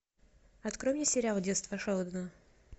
открой мне сериал детство шелдона